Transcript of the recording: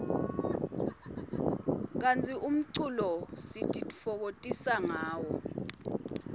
kantsi umculo sitifokotisa ngawo